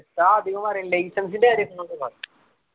ഉസ്താദ് അധികം പറയല് license ൻ്റെ കാര്യം